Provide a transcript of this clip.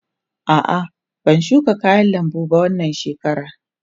A'a, ban shuka kayan lambu ba wannan shekarar.